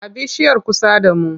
A bishiyar kusa da mu.